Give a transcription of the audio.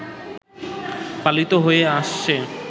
পালিত হয়ে আসছে